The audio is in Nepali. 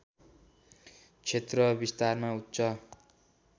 क्षेत्र विस्तारमा उच्च